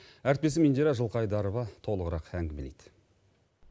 әріптесім индира жылқыайдарова толығырақ мәлімдейді